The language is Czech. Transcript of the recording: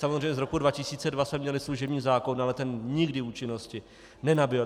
Samozřejmě z roku 2002 jsme měli služební zákon, ale ten nikdy účinnosti nenabyl.